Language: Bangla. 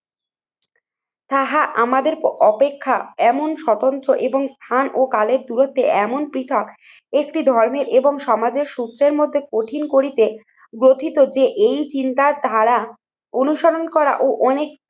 তাহা আমাদের অপেক্ষা এমন স্বতন্ত্র এবং স্থান ও কালের দূরত্বে এমন পৃথক একটি ধর্মের এবং সমাজের সূত্রের মধ্যে কঠিন করিতে গঠিত যে এই চিন্তার ধারা অনুসরণ করা ও অনেক